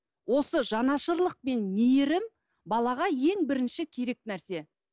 осы жанашырлық пен мейірім балаға ең бірінші керек нәрсе